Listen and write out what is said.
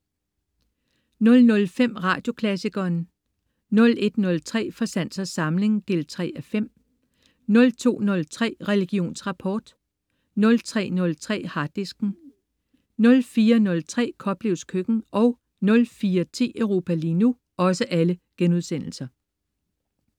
00.05 Radioklassikeren* 01.03 Fra sans og samling 3:5* 02.03 Religionsrapport* 03.03 Harddisken* 04.03 Koplevs Køkken* 04.10 Europa lige nu*